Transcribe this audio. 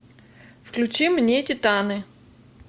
включи мне титаны